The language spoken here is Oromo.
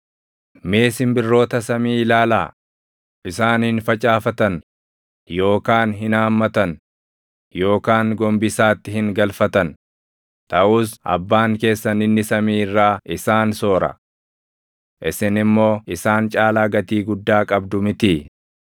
Mee simbirroota samii ilaalaa; isaan hin facaafatan yookaan hin haammatan yookaan gombisaatti hin galfatan; taʼus Abbaan keessan inni samii irraa isaan soora. Isin immoo isaan caalaa gatii guddaa qabdu mitii?